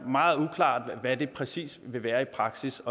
meget uklart hvad det præcis vil være i praksis